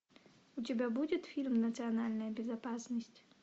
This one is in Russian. у тебя будет фильм национальная безопасность